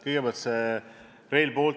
Kõigepealt Rail Balticust.